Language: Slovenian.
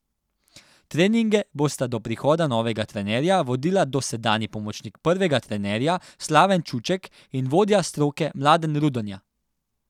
Treninge bosta do prihoda novega trenerja vodila dosedanji pomočnik prvega trenerja Slaven Čuček in vodja stroke Mladen Rudonja.